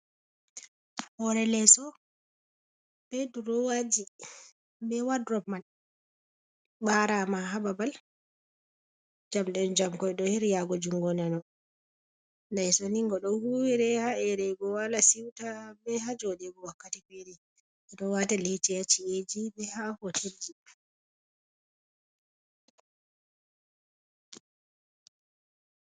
Hore leeso be durowaji, be wadrob man, ɓarama ha babal jamɗen jam koi ɗo her yago jungo nano, leeso ni ngo ɗo huwire ha erego wala siuta be ha joɗego, wakkati feri ɓe ɗo wata lecce ha cci’eji be ha hotelji.